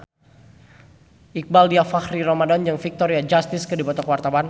Iqbaal Dhiafakhri Ramadhan jeung Victoria Justice keur dipoto ku wartawan